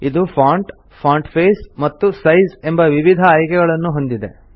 ಇದು font font face ಮತ್ತು size ಎಂಬ ವಿವಿಧ ಆಯ್ಕೆಗಳನ್ನು ಹೊಂದಿದೆ